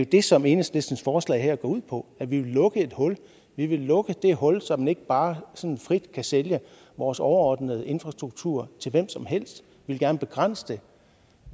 det som enhedslistens forslag her går ud på at vi vil lukke et hul vi vil lukke det hul så man ikke bare sådan frit kan sælge vores overordnede infrastruktur til hvem som helst vi vil gerne begrænse det